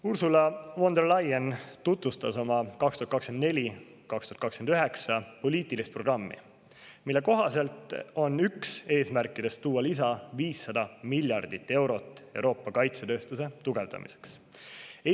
Ursula von der Leyen tutvustas oma 2024.–2029. aasta poliitilist programmi, mille kohaselt on üks eesmärkidest Euroopa kaitsetööstuse tugevdamiseks lisaks 500 miljardit eurot.